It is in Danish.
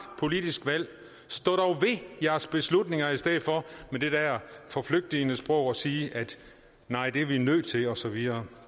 politisk valg stå dog ved jeres beslutninger i stedet for med det der forflygtigende sprog at sige nej det er vi nødt til og så videre